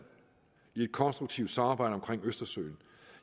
i et konstruktivt samarbejde omkring østersøen